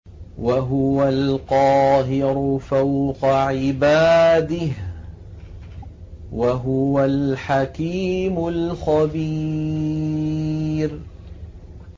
وَهُوَ الْقَاهِرُ فَوْقَ عِبَادِهِ ۚ وَهُوَ الْحَكِيمُ الْخَبِيرُ